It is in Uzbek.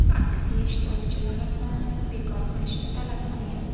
Aksiya ishtirokchilari qonunni bekor qilishni talab qilgan.